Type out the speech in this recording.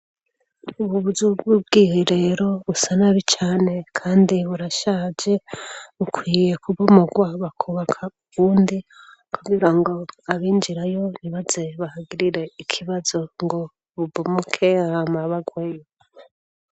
ububuzu bwubwiherero busa nabi cane kandi burashaje bukwiye kubomorwa bakubaka ubundi kugira ngo abinjirayo ntibaze bahagirire ikibazo ngo bubomoke hama bagweyo